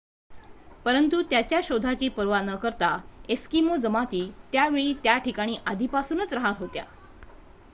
परंतु त्याच्या शोधाची पर्वा न करता एस्किमो जमाती त्या वेळी त्या ठिकाणी आधीपासूनच राहत होत्या